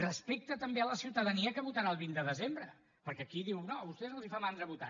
respecte també a la ciutadania que votarà el vint de desembre perquè aquí diu no a vostès els fa mandra votar